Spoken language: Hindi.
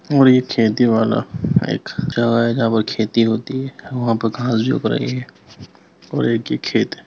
ओर ये खेती वाला खेती होती है। और वहाँ पे घांस भी उग रही हैं और एक ये खेत है।